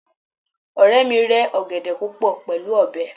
ọrẹ mi rẹ ọgẹdẹ púpò pẹlú ọbẹ